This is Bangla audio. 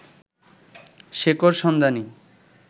শেকড়সন্ধানী